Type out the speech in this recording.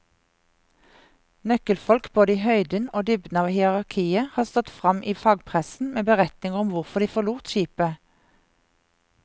Nøkkelfolk både i høyden og dybden av hierarkiet har stått frem i fagpressen med beretninger om hvorfor de forlot skipet.